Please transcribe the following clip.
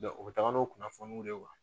u bɛ taga n'o kunnafoniw de ye